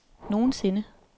nogensinde